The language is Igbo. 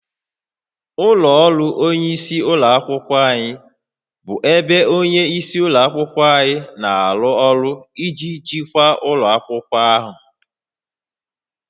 Ụlọ ọrụ onyeisi ụlọ akwụkwọ bụ ebe onye isi ụlọ akwụkwọ na-arụ ọrụ iji jikwaa ụlọ akwụkwọ ahụ